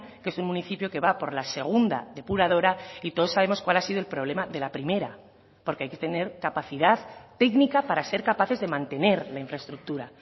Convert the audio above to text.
que es un municipio que va por la segunda depuradora y todos sabemos cuál ha sido el problema de la primera porque hay que tener capacidad técnica para ser capaces de mantener la infraestructura